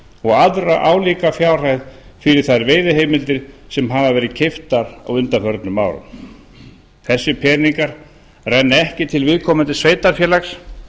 og aðra álíka fjárhæð fyrir þær veiðiheimildir sem hafa verið keyptar á undanförnum árum þessir peningar renna ekki til viðkomandi sveitarfélags